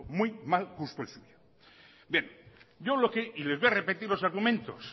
muy mal gusto el suyo bien les voy a repetir los argumentos